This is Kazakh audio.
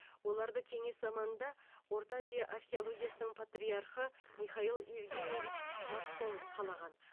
оларды кеңес заманында орта азия археологиясының патриархы михаил евгенийевич массон қалаған